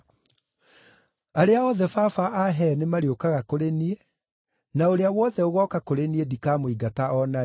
Arĩa othe Baba ahee nĩmarĩũkaga kũrĩ niĩ, na ũrĩa wothe ũgooka kũrĩ niĩ ndikamũingata o na rĩ.